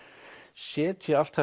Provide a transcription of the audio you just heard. setja allt